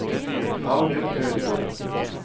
Audun Ødegård